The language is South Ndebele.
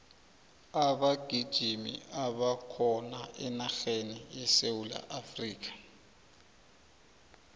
abagijimi abakhona enarheni yesewula afrika